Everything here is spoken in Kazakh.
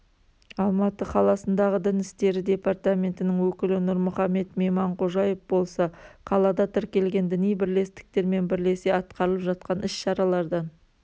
алматы қаласындағы дін істері департаментінің өкілі нұрмұхамед мейманқожаев болса қалада тіркелген діни бірлестіктермен бірлесе атқарылып жатқан іс-шаралардан